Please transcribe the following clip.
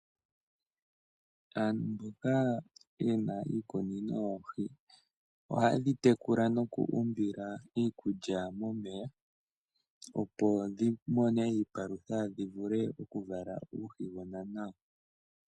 Aantu mboka yena iikunino yoohi. ohaye dhi tekula noku umbila iikulya momeya opo dhi mone iipalutha dhi vule oku vala uuhigona nawa.